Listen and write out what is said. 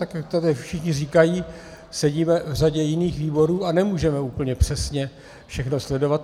Tak jak tady všichni říkají, sedíme v řadě jiných výborů a nemůžeme úplně přesně všechno sledovat.